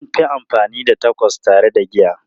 An fi amfani da Tacos tare da giya.